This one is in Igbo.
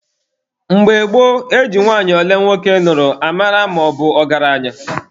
Mgbe gboo, e ji nwanyị ole nwoke nụrụ amata na ọ bụ ọgaranya.